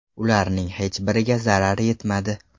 Ularning hech biriga zarar yetmadi.